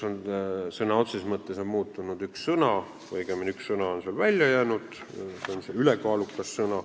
Sõna otseses mõttes on muutunud üks sõna, õigemini on üks sõna sealt välja jäänud, see sõna on "ülekaalukas".